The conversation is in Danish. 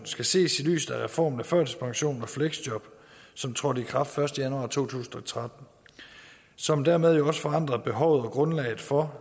skal ses i lyset af reformen af førtidspension og fleksjob som trådte i kraft den første januar to tusind og tretten og som dermed også forandrede behovet og grundlaget for